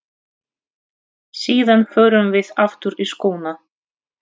Síðan förum við aftur í skóna.